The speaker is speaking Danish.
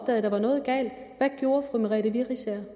at der var noget galt hvad gjorde fru merete riisager